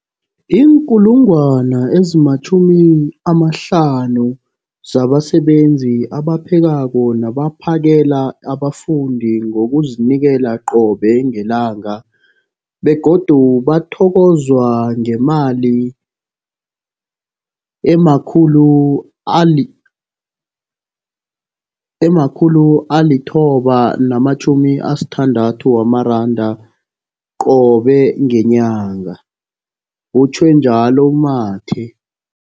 50 000 zabasebenzi abaphekako nabaphakela abafundi ngokuzinikela qobe ngelanga, begodu bathokozwa ngemali ema-960 wamaranda qobe ngenyanga, utjhwe njalo u-Mathe.